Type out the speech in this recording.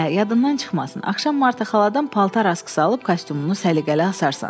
Hə, yadından çıxmasın, axşam Marta xaladan paltar askısı alıb kostyumunu səliqəli asarsan.